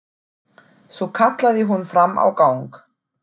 Svo kallaði hún fram á gang.